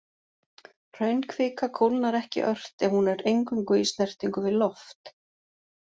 Hraunkvika kólnar ekki ört ef hún er eingöngu í snertingu við loft.